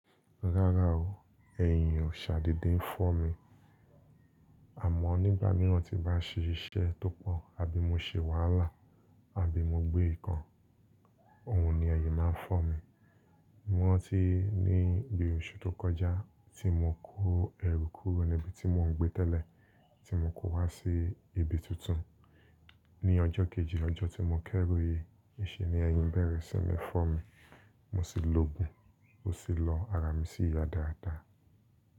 Rárá o, ẹ̀yìn ò ṣàdede n fo mi. Àmọ́ nígbà miíran tí n bá ṣe iṣẹ́ tó pọ̀ àbí mo ṣe wàhálà, àbí mo gbé nǹkan, òun ni ẹyìn máa ń fọ́ mi. Mor ran ti níbi oṣù tó kọjá tí mo kó ẹrù kúrò níbi tí mò ń gbé tẹ́lẹ̀ tí mo kó wá sí ibi tuntun. Ni ọjọ́ kejì lọ́jọ́ tí mo kẹ́rù yii, niṣé ni ẹyìn bẹ̀rẹ̀ sí ní fọ́ mi. Mo sì loògùn, ó sì lọ ara mi sí yà dáadáa.